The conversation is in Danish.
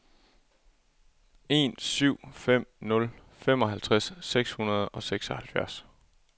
en syv fem nul femoghalvtreds seks hundrede og seksoghalvfjerds